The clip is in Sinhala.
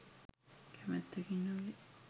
කැමැත්තකින් නොවේ.